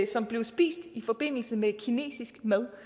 som blev spist i forbindelse med kinesisk mad